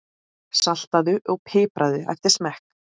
Saltaðu og pipraðu eftir smekk.